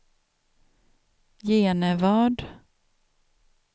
Genevad